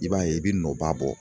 I b'a ye i bɛ nɔba bɔ